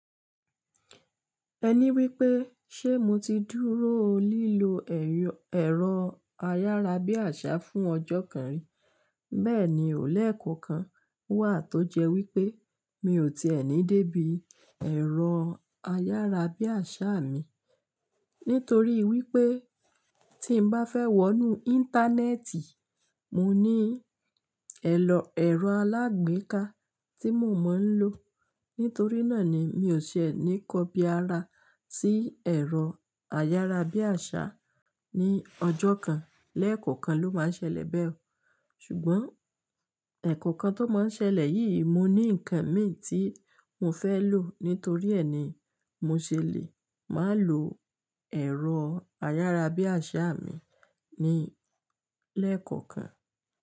Ẹní wípé ṣé mo ti dúró lílo ẹ̀rọ-ayára-bí-àṣá fún ọjọ́ kan rí, bẹ́ẹ̀ ni o lẹ́ẹ̀kọ̀kan wà tó jẹ́ wípé mi ò tí ẹ̀ ní dé bí ẹ̀rọ ayára bí àṣá mi. Nítorí wípé tí n bá fẹ́ wọnú Íńtánẹ́ẹ̀tì, mo ní ẹ̀rọ alágbèéká tí mo ń lò. Nítorí náà ni mi ò ṣe ní kọbí ara sí ẹ̀rọ ayára bí àṣá ní ọjọ́ kan, lẹ́ẹ̀kọ̀kan ló máa ń ṣẹlẹ̀ bẹ́ẹ̀. Ṣùgbọ́n ẹ̀kọ́ kan tó máa ń ṣẹlẹ̀ yìí, mo ní ǹkan mi tí mò fẹ́ lò, nítorí ẹni mo ṣe lè má lo ẹ̀rọ ayára bí àṣá mi ní lẹ́ẹ̀kọ̀kan.